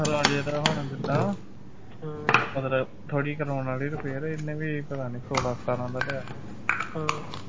ਰਾਜੇ ਦਾ ਹੁਣ ਜਿੱਦਾ ਮਤਲਬ ਥੋੜੀ ਕਰਾਉਣ ਵਾਲੀ repair ਇੰਨੇ ਵੀ ਪਤਾ ਨਹੀਂ ਸੋਲਾਂ ਸਤਾਰਾਂ ਦਾ ਲਿਆਂ ਵਾ